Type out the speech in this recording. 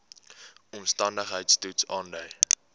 omstandigheids toets aandui